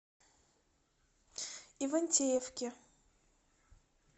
ивантеевке